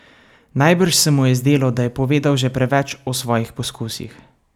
Najbrž se mu je zdelo, da je povedal že preveč o svojih poskusih.